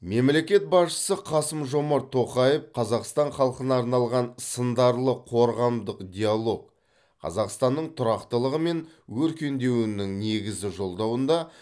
мемлекет басшысы қасым жомарт тоқаев қазақстан халқына арнаған сындарлы қорғамдық диалог қазақстанның тұрақтылығы мен өркендеуінің негізі жолдауында